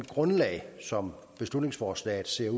grundlag som beslutningsforslaget